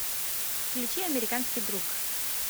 включи американский друг